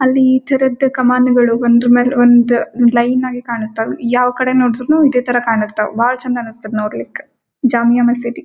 ಅಲ್ಲಿ ಈ ತರದ್ ಕಮಾನುಗಳು ಒಂದ್ರ್ ಮೇಲ ಒಂದ್ ಲೈನ್ ಆಗಿ ಕಾಣಿಸ್ತಾವ್ ಯಾವ ಕಡೆ ನೋಡಿದ್ರುನು ಇದೇತರ ಕಾಣಿಸ್ತಾವ್ ಬಹಳ ಚೆನ್ಡ್ ಅನಿಸ್ತದ ನೊಡ್ಲಿಕ ಜಾಮಿಯಾ ಮಸೀದಿ.